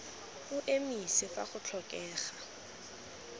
o emise fa go tlhokega